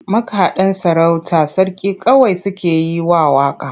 Makaɗan sarauta sarki kawai suke yi wa waƙa.